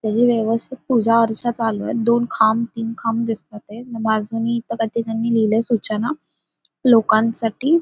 त्याची व्यवस्थित पूजा अर्चा चालूए दोन खांब तीन खांब दिसताते बाजूनी इथ काहीतरी त्यांनी लिहिलंय सूचना लोकांसाठी--